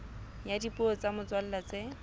ya dipuo tsa motswalla tse